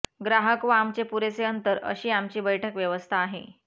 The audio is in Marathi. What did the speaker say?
ग्राहक व आमचे पुरेसे अंतर अशी आमची बैठक व्यवस्था आहे